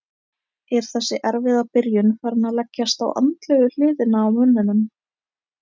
Er þessi erfiða byrjun farin að leggjast á andlegu hliðina á mönnum?